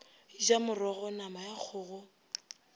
ja morogo nama ya kgogo